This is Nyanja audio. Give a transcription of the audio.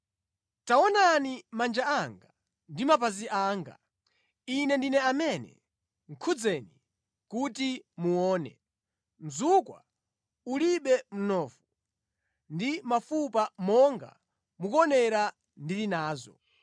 Taonani manja anga ndi mapazi anga. Ine ndine amene! Khudzeni kuti muone. Mzukwa ulibe mnofu ndi mafupa monga mukuonera ndili nazo.”